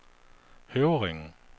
Høvringen